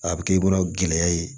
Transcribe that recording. A bɛ kɛ i bolo gɛlɛya ye